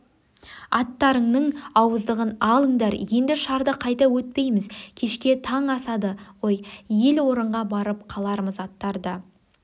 аттарыңның ауыздығын алындар енді шарды қайта өтпейміз кешке таң асады ғой ел орынға барып қалармыз аттарды